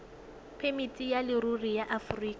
phemiti ya leruri ya aforika